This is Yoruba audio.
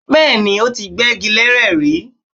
Bẹ́ẹ̀ni, ó ti gbẹ́gi leré rí